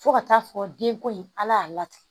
Fo ka taa fɔ denko in ala y'a latigɛ